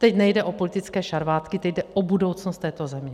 Teď nejde o politické šarvátky, teď jde o budoucnost této země.